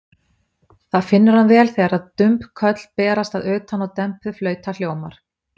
Það finnur hann vel þegar dumb köll berast að utan og dempuð flauta hljómar.